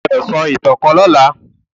o gbódò so ìtàn kán lọla.